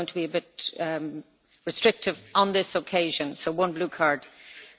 I am going to be a bit restrictive on this occasion, so one blue card only.